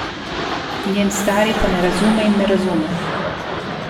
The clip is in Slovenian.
Njen stari pa ne razume in ne razume.